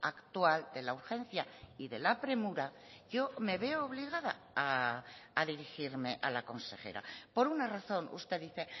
actual de la urgencia y de la premura yo me veo obligada a dirigirme a la consejera por una razón usted dice